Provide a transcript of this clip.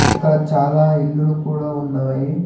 ఇక్కడ చాలా ఇల్లులు కూడా ఉన్నాయి